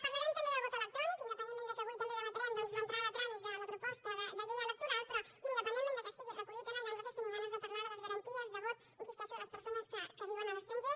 parlarem també del vot electrònic independentment que avui també debatrem doncs l’entrada a tràmit de la proposta de llei electoral però independentment que estigui recollit allà nosaltres tenim ganes de parlar de les garanties de vot hi insisteixo de les persones que viuen a l’estranger